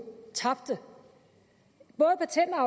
tabte